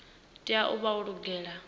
tea u vha yo lugela